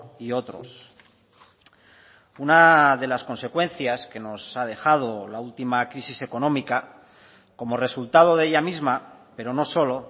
y otros una de las consecuencias que nos ha dejado la última crisis económica como resultado de ella misma pero no solo